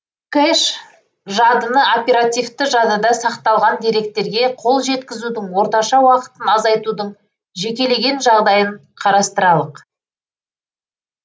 кэш жадыны оперативті жадыда сақталған деректерге қол жеткізудің орташа уақытын азайтудың жекелеген жағдайын қарастыралық